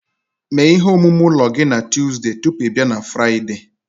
Mee ihe omume ụlọ gị na Tọzdee tupu ị bịa na Fraịde